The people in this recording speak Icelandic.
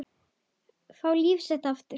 Fá líf sitt aftur.